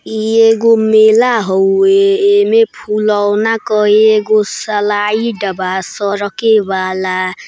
ई एगो मेला हौवे एमें फुलौना का एगो सलाईड बा सरके वाला--